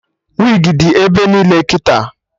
Wigi dị ebe niile kịta